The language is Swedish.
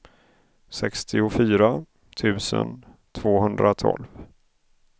sextiofyra tusen tvåhundratolv